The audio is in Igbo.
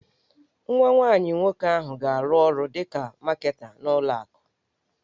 Nwa nwanyị nwoke ahụ ga-arụ ọrụ dịka Maketa n'ụlọ akụ